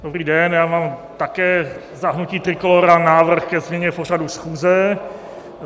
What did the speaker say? Dobrý den, já mám také za hnutí Trikolóra návrh ke změně pořadu schůze.